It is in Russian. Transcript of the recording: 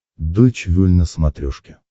дойч вель на смотрешке